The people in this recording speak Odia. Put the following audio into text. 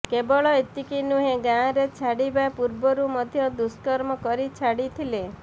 କେବଳ ଏତିକି ନୁହେଁ ଗାଁରେ ଛାଡ଼ିବା ପୂର୍ବରୁ ମଧ୍ୟ ଦୁଷ୍କର୍ମ କରି ଛାଡ଼ିଥିଲେ